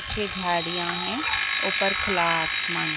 पीछे झाड़ियां है ऊपर खुला आसमान।